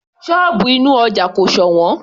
Sọ́ọ̀bù inú ọja kò sọ̀wọ́n